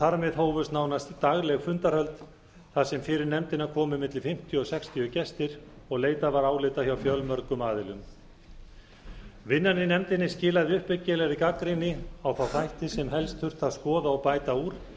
þar með hófust nánast dagleg fundarhöld þar sem fyrir nefndina komu milli fimmtíu og sextíu gestir og leitað var álita hjá fjölmörgum aðilum vinnan í nefndinni skilaði uppbyggilegri gagnrýni á þá þætti sem helst þurfti að skoða og bæta úr til